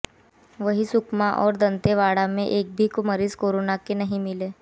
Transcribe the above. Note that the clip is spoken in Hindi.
वही सुकमा और दंतेवाड़ा मैं एक भी मरीज कोरोना के नहीं मिले